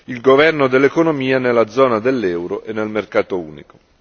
il governo dell'economia nella zona dell'euro e nel mercato unico.